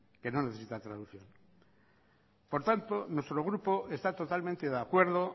que no necesita traducción por tanto nuestro grupo está totalmente de acuerdo